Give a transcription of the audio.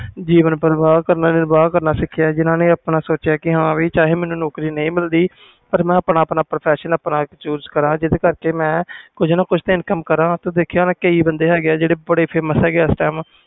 ਜੀਵਨ ਪ੍ਰਵਾਹ ਨਿਰਬਾਹ ਕਰਨਾ ਸਿੱਖਿਆ ਆਪਣਾ ਸੋਚਿਆ ਕਿ ਮੈਨੂੰ ਨੌਕਰੀ ਨਹੀਂ ਮਿਲਦੀ ਪਰ ਮੈਂ ਆਪਣਾ professional choose ਕਰਾਂ ਜਿੰਦੇ ਕਰਕੇ ਕੁਛ ਨਾ ਕੁਛ income ਕਰ ਤੂੰ ਦੇਖਿਆ ਹੋਣਾ ਕਈ ਬੰਦੇ ਆ ਜਿਹੜੇ famous ਆ